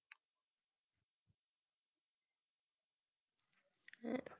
হ্যাঁ